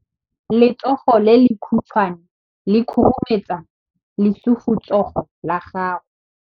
Letsogo le lekhutshwane le khurumetsa lesufutsogo la gago.